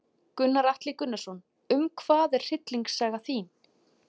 Gunnar Atli Gunnarsson: Um hvað er hryllingssaga þín?